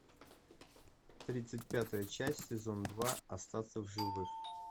тридцать пятая часть сезон два остаться в живых